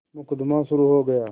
मुकदमा शुरु हो गया